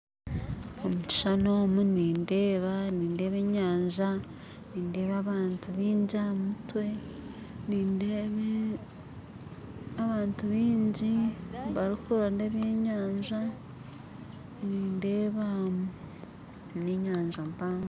Omu kishuushani omu nindeeba enyanja nindeeba abantu baingi aha mutwe nindeeba abantu bingi barikuronda ebyenyanja nindeeba n'enyanja mpango